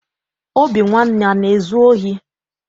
Obinwanne ana ezu ohi?